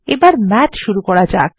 এবার ম্যাথ শুরু করা যাক